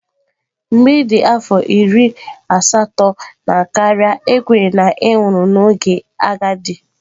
Mgbe ị dị afọ iri asatọ na karịa, a kwenyere na ị nwụrụ n'oge agadi.